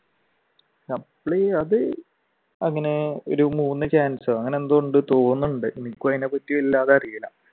Supply അത് അങ്ങനെ ഒരു മൂന്ന് chance ഓ അങ്ങനെയെന്തോ ഉണ്ടെന്ന് തോന്നുന്നുണ്ട് എനിക്ക് അതിനെ പറ്റി വല്ലാതെ അറിയില്ല.